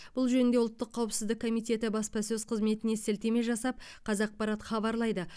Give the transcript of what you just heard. бұл жөнінде ұлттық қауіпсіздік комитетінің баспасөз қызметіне сілтеме жасап қазақпарат хабарлайды